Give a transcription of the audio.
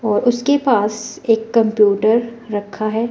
और उसके पास एक कंप्यूटर रखा है।